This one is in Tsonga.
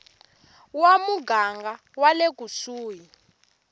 wa muganga wa le kusuhi